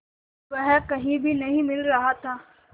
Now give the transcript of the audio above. वह कहीं भी नहीं मिल रहा था